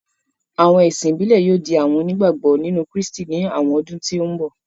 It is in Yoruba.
Àwọn ẹ̀sìn ìbílẹ̀ yóò di àwọn onígbàgbọ́ nínú Krístì ní àwọn ọdún tó n bọ̀